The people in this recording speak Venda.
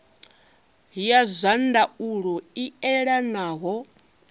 ya zwa ndaulo i elanaho